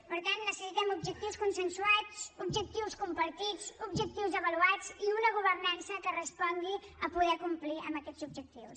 per tant necessitem objectius consensuats objectius compartits objectius avaluats i una governança que respongui a poder complir amb aquests objectius